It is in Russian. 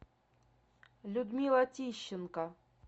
людмила тищенко